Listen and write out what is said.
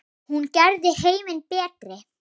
Hún gerði heiminn betri.